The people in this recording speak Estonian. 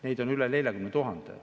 Neid on üle 40 000.